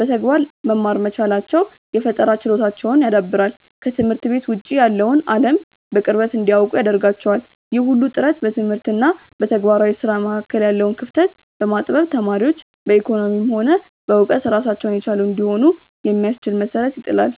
በተግባር መማር መቻላቸው የፈጠራ ችሎታቸውን ያዳብራል፤ ከትምህርት ቤት ውጭ ያለውን አለም በቅርበት እንዲያውቁ ያደርጋቸዋል። ይህ ሁሉ ጥረት በትምህርት እና በተግባራዊ ስራ መካከል ያለውን ክፍተት በማጥበብ ተማሪዎች በኢኮኖሚም ሆነ በእውቀት ራሳቸውን የቻሉ እንዲሆኑ የሚያስችል መሰረት ይጥላል።